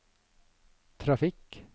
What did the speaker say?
trafikk